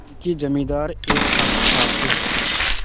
उनके जमींदार एक ठाकुर साहब थे